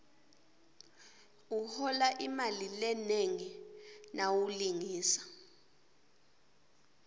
uhola imali lenengi nawulingisa